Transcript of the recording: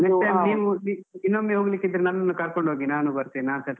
Next time ನೀವು ಇನ್ನೊಮ್ಮೆ ಹೋಗ್ಲಿಕ್ಕೆ ಇದ್ರೆ ನನ್ನನ್ನು ಕರ್ಕೊಂಡು ಹೋಗಿ ನಾನೂ ಬರ್ತೇನೆ, ನಾನ್ಸ .